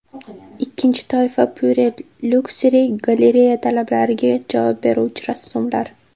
Ikkinchi toifa Pure Luxury galereya talablariga javob beruvchi rassomlar.